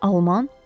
Alman?